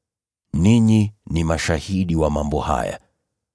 Ninyi ni mashahidi wa mambo haya.